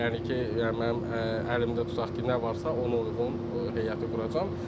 Yəni ki, mənim əlimdə tutaq ki, nə varsa ona uyğun heyəti quracam.